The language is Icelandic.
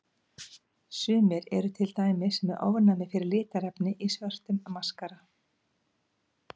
Sumir eru til dæmis með ofnæmi fyrir litarefni í svörtum maskara.